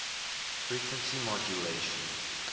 frequency modulation